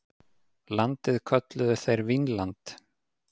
Landið kölluðu þeir Vínland.